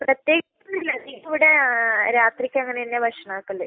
പ്രത്യേകിച്ച് ഒന്നും ഇല്ല. ഇവിടെ രാത്രിക്ക് അങ്ങനന്നെയാ ഭക്ഷണം ആക്കൽ.